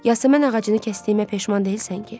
Yasəmən ağacını kəsdiyimə peşman deyilsən ki?